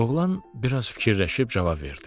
Oğlan biraz fikirləşib cavab verdi.